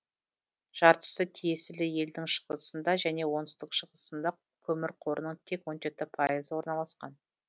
жартысы тиесілі елдің шығысында және оңтүстік шығысында көмір қорының тек он жеті пайызы орналасқан